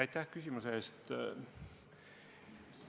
Aitäh küsimuse eest!